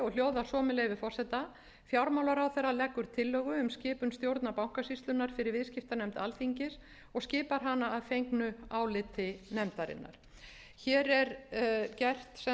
svo með leyfi forseta fjármálaráðherra leggur tillögu um skipun stjórnar bankasýslunnar fyrir viðskiptanefnd alþingis og skipar hana að fengnu áliti nefndarinnar hér er gert